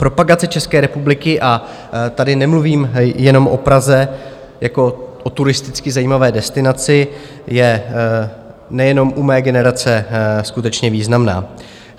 Propagace České republiky, a tady nemluvím jenom o Praze jako o turisticky zajímavé destinaci, je nejenom u mé generace skutečně významná.